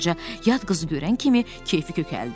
Tom balaca yad qızı görən kimi keyfi kökəldi.